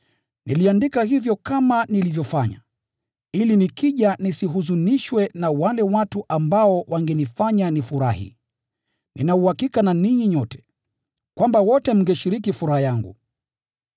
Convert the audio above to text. Niliandika hivyo kama nilivyofanya, ili nikija nisihuzunishwe na wale watu ambao wangenifanya nifurahi. Nina uhakika na ninyi nyote, kwamba wote mngeshiriki furaha yangu.